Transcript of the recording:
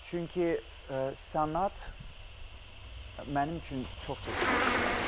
Çünki sənət mənim üçün çox seçilirdi bu layihədə.